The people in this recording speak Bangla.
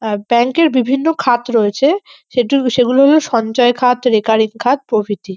আহ ব্যাংক -এর বিভিন্ন খাত রয়েছে সেদু সেগুলো হল সঞ্ছয়খাত রেকারেকি খাত প্রভৃতি।